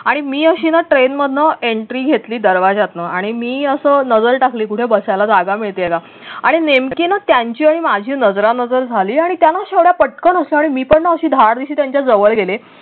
आणि मी अशी ना train मधनं entry घेतली दरवाजातनं आणि मी असं नजर टाकली कुठे बसायला जागा मिळतेय का आणि नेमकी ना त्यांची आणि माझी नजरानजर झाली आणि त्या ना अशा पटकन उठल्या आणि मी पण ना अशी धाडदिशी त्यांच्या जवळ गेले.